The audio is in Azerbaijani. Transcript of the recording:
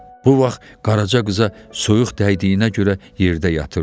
Bu vaxt Qaraça qıza soyuq dəydiyinə görə yerdə yatırdı.